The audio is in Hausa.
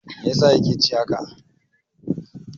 Mai yasa ya ke ci haka?